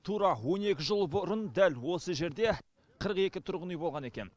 тура он екі жыл бұрын дәл осы жерде қырық екі тұрғын үй болған екен